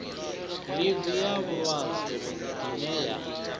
ḽivi ya vhulwadze ine ya